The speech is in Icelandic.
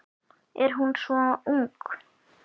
Er hún svo ung?